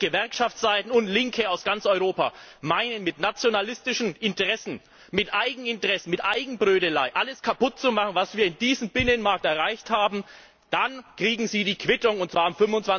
Wenn jetzt Gewerkschaftsseiten und Linke aus ganz Europa meinen, mit nationalistischen Interessen, mit Eigeninteressen, mit Eigenbrötelei alles kaputt zu machen, was wir in diesem Binnenmarkt erreicht haben, dann kriegen sie die Quittung, und zwar am